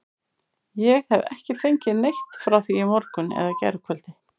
Ég hef ekki fengið neitt frá því í morgun eða gærkvöldi.